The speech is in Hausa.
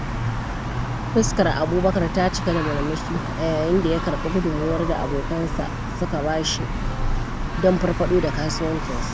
Fuskar Abubakar ta cika da murmushi a yayin da ya karɓi gudummawar da abokan sa su ka ba shi don farfaɗo da kasuwancinsa.